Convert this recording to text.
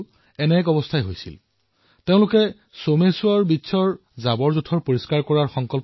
অনুদীপ আৰু মীনুষাই সিদ্ধান্ত গ্ৰহণ কৰিলে যে সোমেশ্বৰ তীৰত যিসকলে আৱৰ্জনা এৰি থৈ যায় সেয়া তেওঁলোকে পৰিষ্কাৰ কৰিব